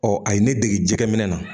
Ɔ a ye ne dege jɛgɛminɛ na